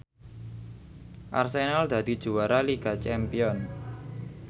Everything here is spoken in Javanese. Arsenal dadi juara liga champion